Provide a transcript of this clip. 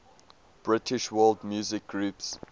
british world music groups